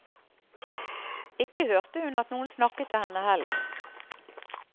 Ikke hørte hun at noen snakket til henne heller.